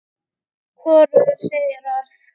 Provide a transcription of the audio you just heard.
Hvorug segir orð.